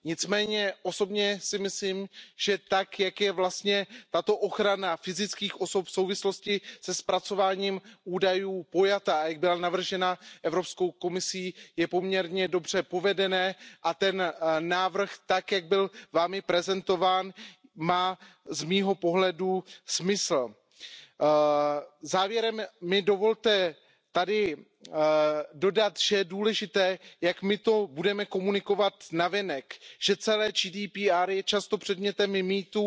Nicméně osobně si myslím, že tak, jak je tato ochrana fyzických osob v souvislosti se zpracováním údajů pojatá, jak byla navržena Evropskou komisí, je poměrně dobře provedená a ten návrh, tak jak byl Vámi prezentován, má z mého pohledu smysl. Závěrem mi dovolte tady dodat, že je důležité, jak my to budeme komunikovat navenek, že celé GDPR je často předmětem mýtů